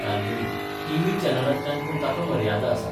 तालगडी TV चॅनलांतल्यान पूण ताका मर्यादा आसात.